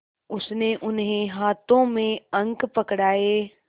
उसने उन्हें हाथों में अंक पकड़ाए